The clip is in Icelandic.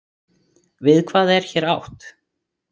Við hvað er hér átt?